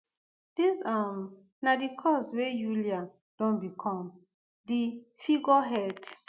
dis um na di cause wey yulia don become di figurehead